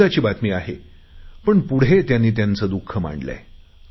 आनंदाची बातमी आहे पण पुढे त्यांनी त्यांचे दुख मांडले आहे